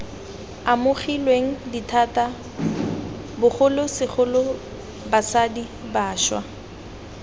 amogilweng dithata bogolosegolo basadi bašwa